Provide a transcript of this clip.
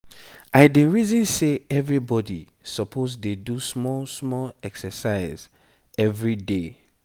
i dey reason say everybody suppose dey do small small exercise everyday.